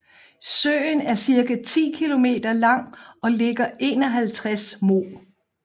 Søen er cirka 10 km lang og ligger 51 moh